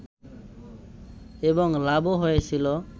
এবং লাভও হয়েছিল